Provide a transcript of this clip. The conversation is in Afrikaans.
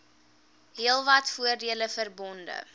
heelwat voordele verbonde